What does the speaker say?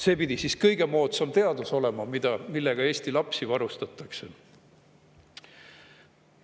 See pidi kõige moodsam teadus olema, millega Eesti lapsi varustatakse.